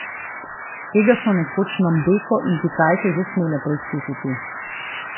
Tega so nekoč Nombeko in Kitajke že smele preizkusiti.